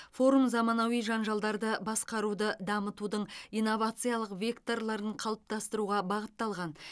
форум заманауи жанжалдарды басқаруды дамытудың инновациялық векторларын қалыптастыруға бағытталған